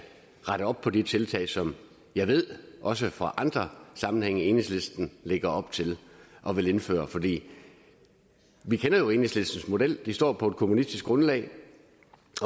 rette op på de tiltag som jeg ved også fra andre sammenhænge enhedslisten lægger op til at ville indføre vi kender jo enhedslistens model de står på et kommunistisk grundlag